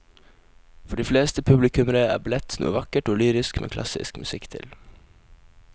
For de fleste publikummere er ballett noe vakkert og lyrisk med klassisk musikk til.